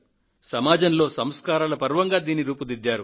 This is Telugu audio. సమాజంలో సంస్కారాల పర్వంగా దీనిని రూపుదిద్దారు